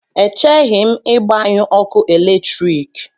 Echeghị m ịgbanyụ ọkụ eletrik.